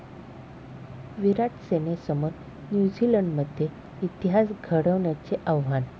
विराट'सेनेसमोर न्यूझीलंडमध्ये इतिहास घडवण्याचे आव्हान